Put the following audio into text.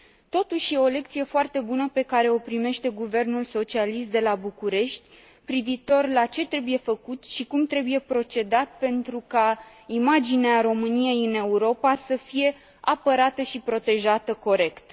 Totuși, e o lecție foarte bună pe care o primește guvernul socialist de la București privitor la ce trebuie făcut și cum trebuie procedat pentru ca imaginea României în Europa să fie apărată și protejată corect.